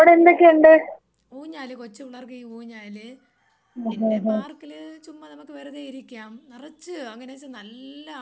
ഊഞ്ഞാല് ഈ കൊച്ചു പിള്ളേർക്കീ ഊഞ്ഞാല് പിന്നെ പാർക്കില് ചുമ്മാ നമുക്ക് വെറുതെയിരിക്കാം നെറച്ച് അങ്ങനേച്ചാ നല്ല ആൾക്കാര് നെറച്ചിരിക്കും.